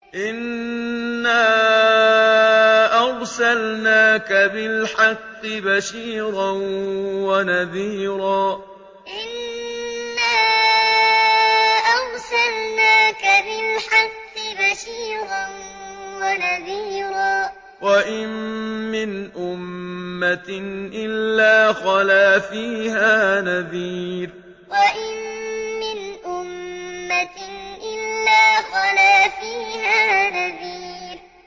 إِنَّا أَرْسَلْنَاكَ بِالْحَقِّ بَشِيرًا وَنَذِيرًا ۚ وَإِن مِّنْ أُمَّةٍ إِلَّا خَلَا فِيهَا نَذِيرٌ إِنَّا أَرْسَلْنَاكَ بِالْحَقِّ بَشِيرًا وَنَذِيرًا ۚ وَإِن مِّنْ أُمَّةٍ إِلَّا خَلَا فِيهَا نَذِيرٌ